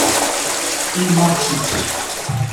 In močna.